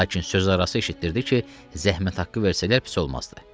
Lakin sözarası eşitdirdi ki, zəhmət haqqı versələr pis olmazdı.